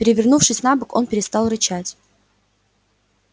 перевернувшись на бок он перестал рычать